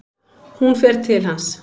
Hún fer til hans.